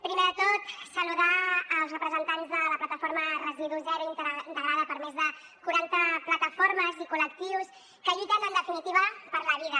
primer de tot saludar els representants de la plataforma residu zero integrada per més de quaranta plataformes i collectius que lluiten en definitiva per la vida